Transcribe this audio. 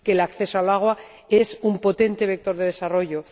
que el acceso al agua es un potente vector de desarrollo